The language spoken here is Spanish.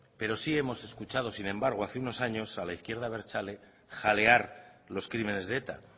pero sí hemos escuchado sin embargo hace unos años a la izquierda abertzale jalear los crímenes de eta